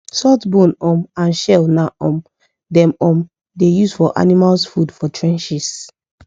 salt bone um and shell na um them um da use for animals food for trenches